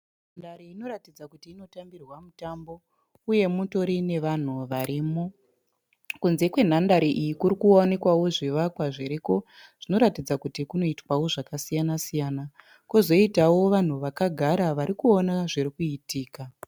Nhandare inoratidza kuti inotambirwa mutambo, uye mutori nevanhu varimo. Kunze kwenhandare iyi kuri kuonekwawo zvivakwa zviriko, zvinoratidza kuti kunoitwawo zvakasiyana siyana, kozoitawo vanhu vakagara varikuona zvirikuitika.